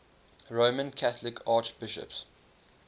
roman catholic archbishops